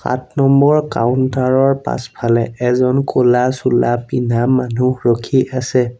আঠ number counter ৰ পাছফালে এজন ক'লা চোলা পিন্ধা মানুহ ৰখি আছে।